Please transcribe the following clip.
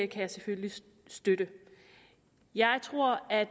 kan jeg selvfølgelig støtte jeg tror at